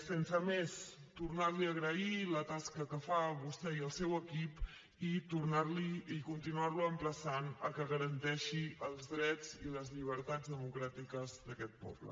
sense més tornar li a agrair la tasca que fan vostè i el seu equip i tornar lo i continuar lo emplaçant a que garanteixi els drets i les llibertats democràtiques d’aquest poble